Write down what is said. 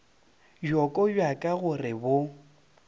bjoko bja ka gore bo